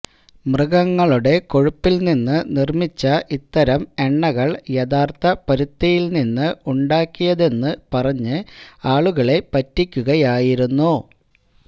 മൃഗങ്ങളുടെ കൊഴുപ്പിൽനിന്ന് നിർമിച്ച ഇത്തരം എണ്ണകൾ യഥാർത്ഥ പരുത്തിയിൽ നിന്ന് ഉണ്ടാക്കിയതെന്ന് പറഞ്ഞു ആളുകളെ പറ്റിക്കുകയായിരുന്നു